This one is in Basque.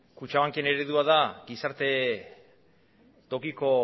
kutxabanken eredua da gizarte tokiko